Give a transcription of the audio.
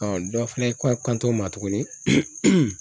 dɔ fɛnɛ ko kanto ma tuguni